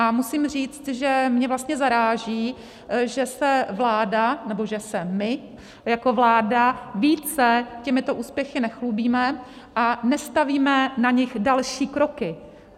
A musím říct, že mě vlastně zaráží, že se vláda, nebo že se my jako vláda více těmito úspěchy nechlubíme a nestavíme na nich další kroky.